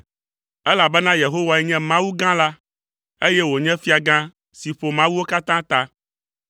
Elabena Yehowae nye Mawu gã la, eye wònye fiagã si ƒo mawuwo katã ta.